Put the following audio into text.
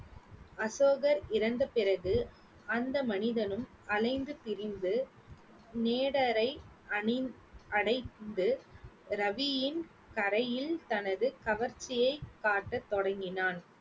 அசோகர் இறந்த பிறகு அந்த மனிதனும் அலைந்து திரிந்து நேடரை அணி~ அடைந்து ரவியின் கரையில் தனது கவர்ச்சியை காட்ட தொடங்கினான்